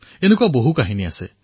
এনেকুৱা অসংখ্য কথা আছে